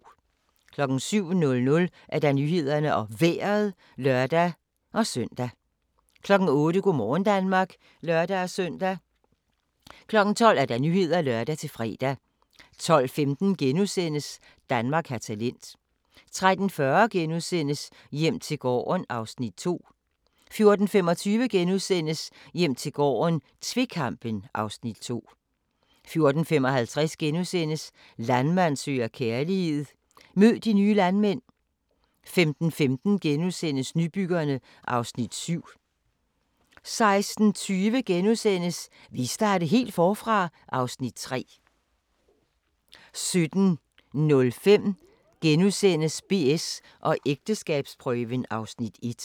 07:00: Nyhederne og Vejret (lør-søn) 08:00: Go' morgen Danmark (lør-søn) 12:00: Nyhederne (lør-fre) 12:15: Danmark har talent * 13:40: Hjem til gården (Afs. 2)* 14:25: Hjem til gården - tvekampen (Afs. 2)* 14:55: Landmand søger kærlighed - mød de nye landmænd * 15:15: Nybyggerne (Afs. 7)* 16:20: Vil I starte helt forfra? (Afs. 3)* 17:05: BS & ægteskabsprøven (Afs. 1)*